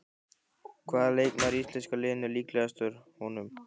Hvaða leikmaður í íslenska liðinu er líkastur honum?